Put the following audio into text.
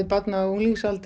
barn á